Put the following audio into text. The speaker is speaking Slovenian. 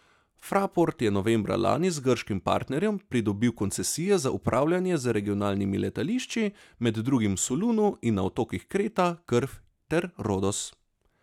Fraport je novembra lani z grškim partnerjem pridobil koncesije za upravljanje z regionalnimi letališči, med drugim v Solunu in na otokih Kreta, Krf ter Rodos.